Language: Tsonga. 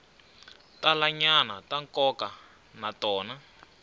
talanyana ta nkoka na tona